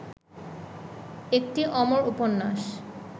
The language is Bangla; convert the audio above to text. একটি অমর উপন্যাস